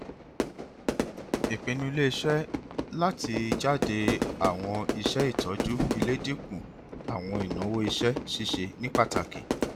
ipinnu ileiṣẹ lati jade awọn iṣẹ itọju ile dinku awọn inawo iṣẹ ṣiṣe ni pataki